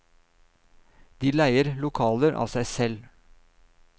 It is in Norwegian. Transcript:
De leier lokaler av seg selv.